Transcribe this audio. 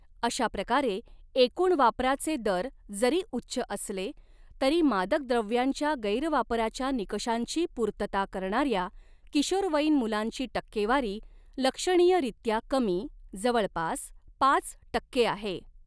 अशाप्रकारे, एकूण वापराचे दर जरी उच्च असले तरी, मादक द्रव्यांच्या गैरवापराच्या निकषांची पूर्तता करणार्या किशोरवयीन मुलांची टक्केवारी लक्षणीयरीत्या कमी, जवळपास पाच टक्के आहे.